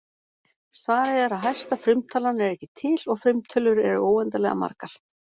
Svarið er að hæsta frumtalan er ekki til og frumtölur eru óendanlega margar.